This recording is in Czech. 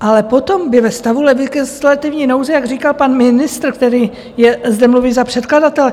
Ale potom by ve stavu legislativní nouze, jak říkal pan ministr, který je, zde mluvím za předkladatele,